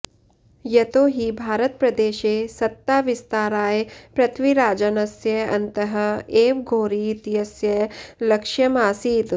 यतो हि भारतप्रदेशे सत्ताविस्ताराय पृथ्वीराजस्य अन्तः एव घोरी इत्यस्य लक्ष्यम् आसीत्